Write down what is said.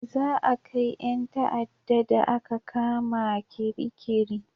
Za a kai 'yan ta'ada da a ka kama Kirikiri